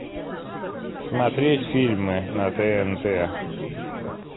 смотреть фильмы на тнт